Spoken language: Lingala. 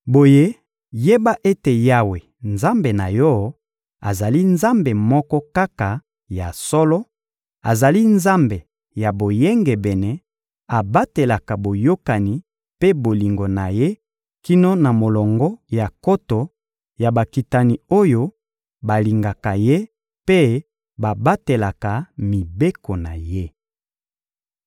Boye yeba ete Yawe, Nzambe na yo, azali Nzambe moko kaka ya solo; azali Nzambe ya boyengebene, abatelaka boyokani mpe bolingo na Ye kino na molongo ya nkoto ya bakitani oyo balingaka Ye mpe babatelaka mibeko na Ye.